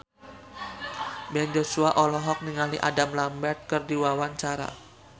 Ben Joshua olohok ningali Adam Lambert keur diwawancara